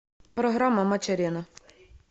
программа матч арена